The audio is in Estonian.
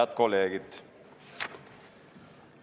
Head kolleegid!